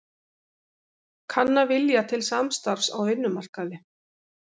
Kanna vilja til samstarfs á vinnumarkaði